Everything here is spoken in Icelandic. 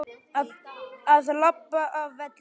Að labba af velli?